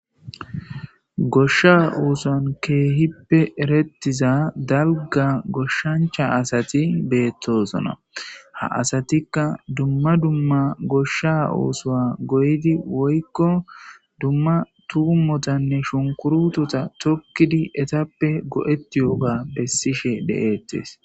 goshsha uusan keehippe erettiza dalga goshshancha asati beettoosona ha asatikka dumma dumma goshsha uusoa goydi woykko dumma tuumotanne shunkurutota tokkidi etappe go7etti yooga pessishe de7eettes